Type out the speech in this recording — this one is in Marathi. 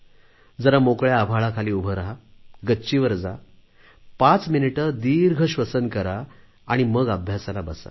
जरा मोकळ्या आभाळाखाली उभे रहा गच्चीवर जा पाच मिनिटे दीर्घश्वसन करा आणि मग अभ्यासाला बसा